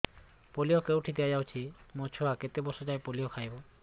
polio କେଉଁଠି ଦିଆଯାଉଛି ମୋ ଛୁଆ କେତେ ବର୍ଷ ଯାଏଁ ପୋଲିଓ ଖାଇବ